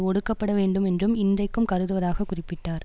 ஒடுக்கப்பட வேண்டும் என்றும் இன்றைக்கும் கருதுவதாக குறிப்பிட்டார்